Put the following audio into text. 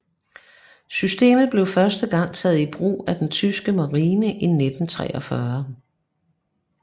Systemet blev første gang taget i brug af den tyske marine i 1943